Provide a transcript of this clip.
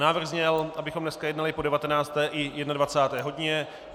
Návrh zněl, abychom dneska jednali po 19. i 21. hodině.